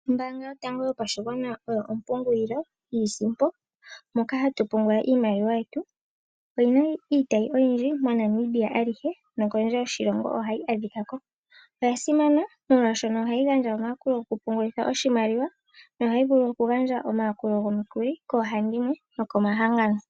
Ombaanga yotango yopashigwana, oyo ompungulilo yiisimpo, moka hatu pungula iimaliwa yetu. Oyina iitayi oyindji moNamibia alihe, nokondje yoshilongo ohayi adhika ko. Oya simana molwaashono ohayi gandja omayakulo goku pungulitha oshimaliwa, nohayi vulu oku gandja omayakulo gomukuli koohandimwe noko mahangano.